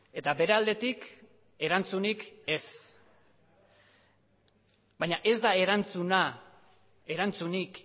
eta bere aldetik erantzunik ez baina ez da erantzuna erantzunik